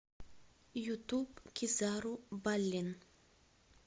ютуб кизару баллин